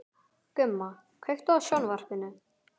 Gumma, kveiktu á sjónvarpinu.